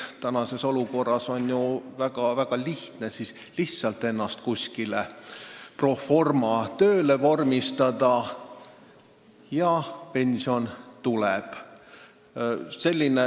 Praegu on väga lihtne lihtsalt ennast kuskile pro forma tööle vormistada, ja pension tuleb.